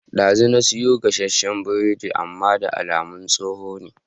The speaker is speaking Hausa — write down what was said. Dazu na siyo gasashen biredi amman da alamar tsoho ne